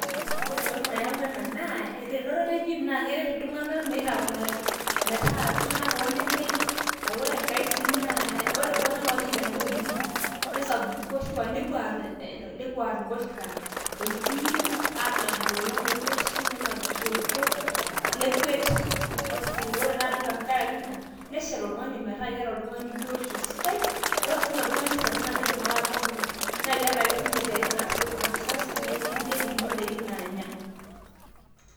ore entoki nayawua ena naa elototo ejim naa keret iltung'anak metaa iltung'anak ooneneng', ore iltung'anak oonya edaa oleng' nesapuku nepuo aar ingoshuak toljim anap ilolon oroshi ,nenap isoitok oiroshi , nekuet, ore naa tengaraki ina neshet oltung'ani meetaa keeta biotisho sidai, ore siininye oltung'ani sas naakidim siininye ahomo.